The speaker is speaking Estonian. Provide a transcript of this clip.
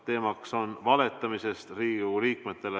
Teemaks on Riigikogu liikmetele valetamine.